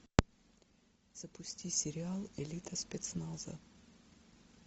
запусти сериал элита спецназа